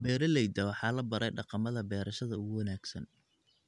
Beeralayda waxaa la baray dhaqamada beerashada ugu wanaagsan.